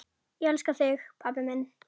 Ég elska þig, pabbi minn.